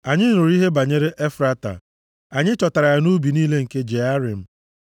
Anyị nụrụ ihe banyere ya nʼEfrata, anyị chọtara ya nʼubi niile nke Jearim.